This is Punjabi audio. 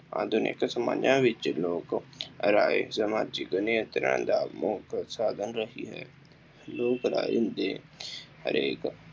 ਆਧੁਨਿਕ ਸਮਾਜਾਂ ਵਿੱਚ ਲੋਕ ਰਾਏ ਸਮਾਜਿਕ ਨਿਯੰਤਰਣ ਦਾ ਮੁੱਖ ਸਾਧਨ ਲੋਕ ਰਾਏ ਦੇ ਹਰੇਕ